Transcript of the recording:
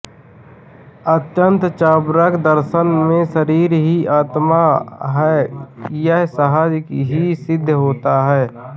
अन्तत चार्वाक दर्शन में शरीर ही आत्मा है यह सहज ही सिद्ध होता है